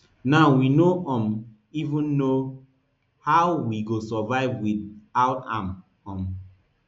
now we no um even know how we go survive wit out am um